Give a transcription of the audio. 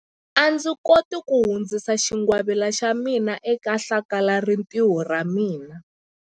A ndzi koti ku hundzisa xingwavila xa mina eka hlakalarintiho ra ra mina.